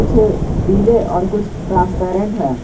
पीले और कुछ ट्रांसपेरेंट है।